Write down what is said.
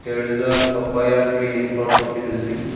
there is a papaya tree in front of the building.